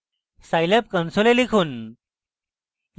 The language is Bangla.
scilab console লিখুন: